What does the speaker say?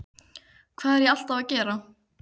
Hvað er ég alltaf að gera?